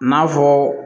N'a fɔ